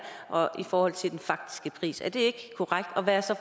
og i forhold til den faktiske pris er det ikke korrekt og hvad er så